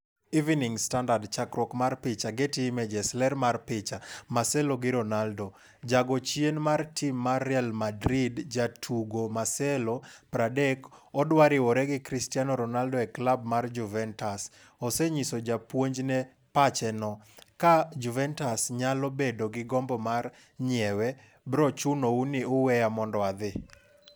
(Evening Standard) Chakruok mar picha, Getty Images. Ler mar picha, Marcelo gi Ronaldo. Jago chien mar tim mar Real Madrid jatugo Marcelo, 30, odwa riwore gi Cristiano Ronaldo e klab mar Juventus, ose nyiso japuonjne pache no: "Kaa (Juventus) nyalo bedo gi gombo mar nyiewe, bro chuno u ni uweya mondo adhi".